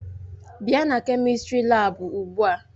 Bịa na kemistri laabu ugbu a!